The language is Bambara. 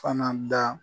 Fana da